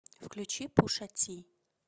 включи пуша ти